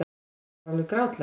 Þetta var alveg grátlegt.